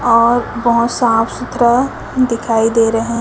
और बहोत साफ सुथरा दिखाई दे रहे--